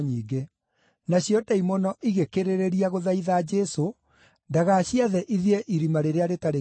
Nacio ndaimono igĩkĩrĩrĩria gũthaitha Jesũ ndagaciathe ithiĩ Irima-rĩrĩa-Rĩtarĩ-Gĩturi.